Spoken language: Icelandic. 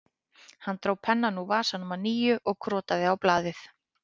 Hann dró pennann úr vasanum að nýju og krotaði á blaðið